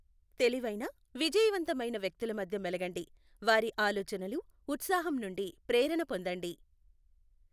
తెలివైన, విజయవంతమైన వ్యక్తుల మధ్య మేలగండి. వారి ఆలోచనలు, ఉత్సాహం నుండి ప్రేరణ పొందండి.